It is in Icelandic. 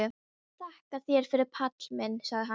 Þakka þér fyrir Palli minn, sagði hann.